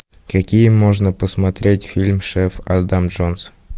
какие можно посмотреть фильм шеф адам джонс